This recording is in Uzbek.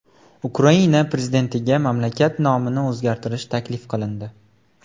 Ukraina prezidentiga mamlakat nomini o‘zgartirish taklif qilindi.